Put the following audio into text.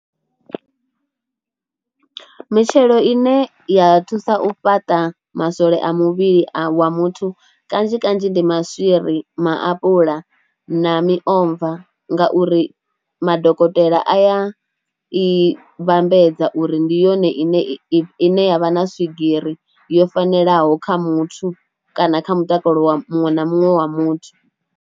Mitshelo ine ya thusa u fhaṱa maswole a muvhili a wa muthu kanzhi kanzhi ndi maswiri, maapuḽa na miomva ngauri madokotela a ya i vhambedza uri ndi yone ine ya vha na swigiri yo fanelaho kha muthu kana kha mutakalo wa muṅwe na muṅwe wa muthu.